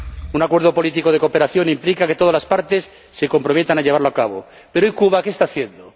Un acuerdo político de cooperación implica que todas las partes se comprometan a llevarlo a cabo. Pero, y Cuba, ¿que está haciendo?